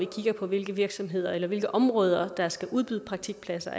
kigger på hvilke virksomheder eller hvilke områder der skal udbyde praktikpladser